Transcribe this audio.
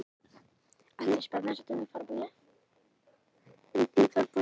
Það er býsna lítil tala ef fjöldi hlutanna er til dæmis kringum hundraðið.